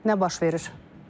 Nə baş verir?